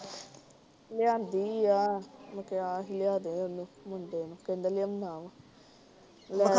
ਲਿਆਂਦੀ ਆ, ਮੈਂ ਕਿਹਾ ਹੀ ਲਿਆਦੇ ਉਹਨੂੰ ਮੁੰਡੇ ਨੂੰ, ਕਹਿੰਦਾ ਲਿਓਨਾ ਵਾ। ਲੈ ਕੇ ਆਇਆ ਹੈ।